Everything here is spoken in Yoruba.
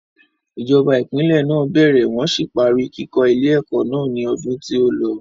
Ìjọba ìpínlè náà bẹ̀rẹ̀ wọ́n sì parí kíkó ilé ẹ̀kọ́ náà ni odun tí ó lọ.